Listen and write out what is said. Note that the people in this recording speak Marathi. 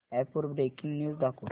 अॅप वर ब्रेकिंग न्यूज दाखव